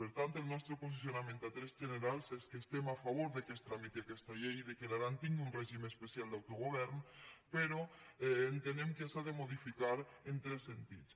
per tant el nostre posicionament a trets generals és que estem a favor que es tramiti aquesta llei i que l’aran tingui un règim especial d’autogovern però entenem que s’ha de modificar en tres sentits